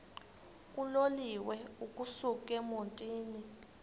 uloliwe ukusuk emontini